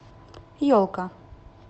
елка